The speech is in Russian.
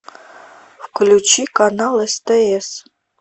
включи канал стс